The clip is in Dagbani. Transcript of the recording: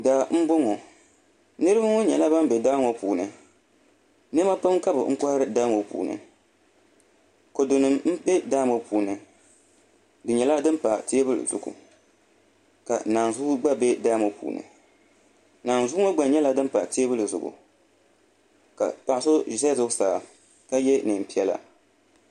Daa n boŋo niraba ŋo nyɛla ban bɛ daa ŋo puuni niɛma pam ka bi kohari daa ŋo puuni kodu nim n bɛ daa ŋo puuni di nyɛla din pa teebuli zuɣu ka naanzuu gba bɛ daa ŋo puuni naanzuu ŋo gba nyɛla din pa teebuli zuɣu ka paɣa so ʒɛ zuɣusaa ka yɛ neen piɛla